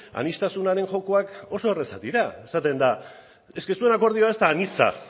aniztasunaren jokoak oso errazak dira esaten da zuen akordioa ez da anitza